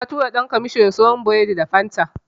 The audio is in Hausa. Na tura ɗan kwamasho ya siyo min biredi da Fanta.